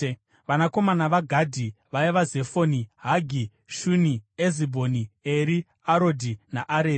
Vanakomana vaGadhi vaiva: Zefoni, Hagi, Shuni, Ezibhoni, Eri, Arodhi naAreri.